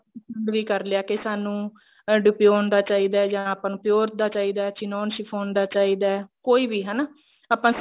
ਪਸੰਦ ਵੀ ਕਰ ਲਿਆ ਕੀ ਸਾਨੂੰ edition ਦਾ ਚਾਹੀਦਾ ਜਾ ਆਪਾਂ ਨੂੰ pure ਦਾ ਚਾਹੀਦਾ chinon CHIFFON ਦਾ ਚਾਹੀਦਾ ਕੋਈ ਵੀ ਹਨਾ ਆਪਾਂ